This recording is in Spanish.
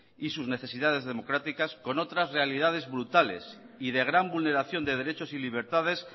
y sus necesidades democráticas con otras realidades brutales y de gran vulneración de derechos y libertades